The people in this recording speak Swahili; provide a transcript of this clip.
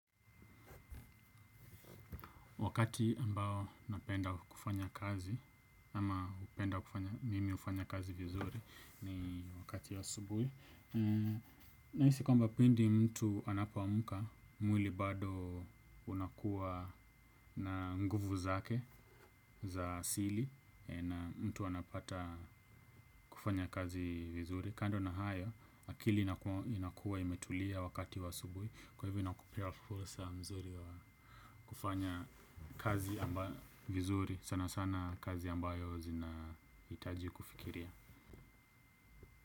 Wakati ambao napenda kufanya kazi, ama napenda mimi ufanya kazi vizuri ni wakati wa asubuhi. Nahisi kwamba pindi mtu anapoamka, mwili bado unakuwa na nguvu zake za asili na mtu anapata kufanya kazi vizuri. Kando na hayo, akili inakuwa imetulia wakati wa subuhi. Kwa hivyo inakupea fursa mzuri wa kufanya kazi ambayo vizuri sana sana kazi ambayo zina itaji kufikiria.